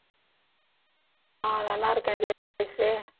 ஆஹ் நல்லா இருக்கேன்